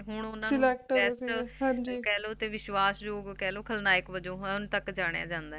ਹੁਣ ਓਹਨਾਂ ਨੂੰ Test ਕਹਿਲੋ ਤੇ ਵਿਸ਼ਵਾਸ ਜੌ ਕਹਿਲੋ ਖਲਨਾਯਕ ਵਜੋਂ ਹੁਣ ਤਕ ਜਾਣਿਆ ਜੰਦਾ ਏ